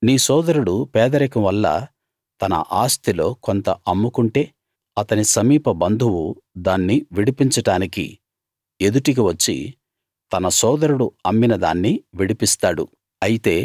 నీ సోదరుడు పేదరికం వల్ల తన ఆస్తిలో కొంత అమ్ముకుంటే అతని సమీప బంధువు దాన్ని విడిపించడానికి ఎదుటికి వచ్చి తన సోదరుడు అమ్మినదాన్ని విడిపిస్తాడు